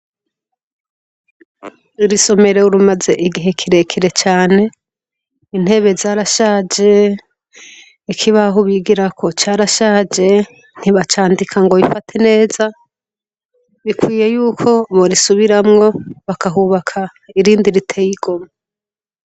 Iri somero rimaze igihe kire kire cane intebe zarashaje ikibaho bigirako carashaje ntibacandika ngo bifate neza bikwiye yuko borisubiramwo bakahubaka irindi riteye igomwe.